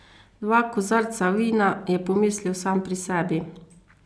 Dva kozarca vina, je pomislil sam pri sebi.